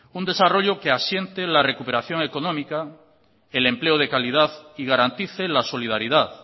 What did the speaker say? un desarrollo que asiente la recuperación económica el empleo de calidad y garantice la solidaridad